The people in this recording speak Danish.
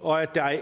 og at